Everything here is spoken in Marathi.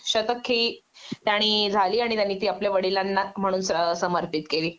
शतकही त्याणी झाली आणि त्यांनी ती वडिलांना म्हणून समर्पित केली